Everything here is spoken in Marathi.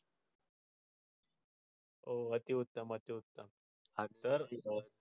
ओ अति उत्तम अति उत्तम आणि दर